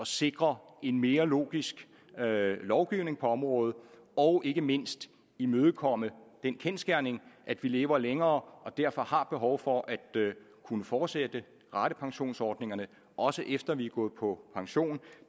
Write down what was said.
sikre en mere logisk lovgivning på området og ikke mindst imødekomme den kendsgerning at vi lever længere og derfor har behov for at kunne fortsætte ratepensionsordningerne også efter at vi er gået på pension